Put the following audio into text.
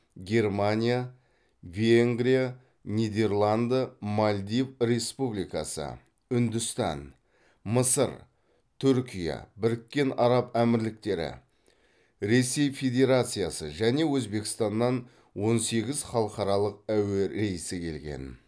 германия венгрия нидерланды мальдив республикасы үндістан мысыр түркия біріккен араб әмірліктері ресей федерациясы және өзбекстаннан он сегіз халықаралық әуе рейсі келген